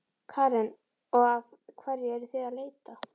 Karen: Og að hverju eruð þið að leita?